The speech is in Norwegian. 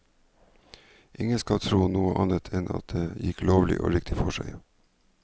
Ingen skal tro noe annet enn at alt gikk lovlig og riktig for seg.